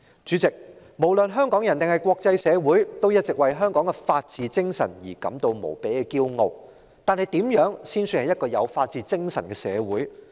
主席，不論是香港人或是國際社會，大家一直為香港的法治精神感到無比自豪，但怎樣才算是一個有法治精神的社會呢？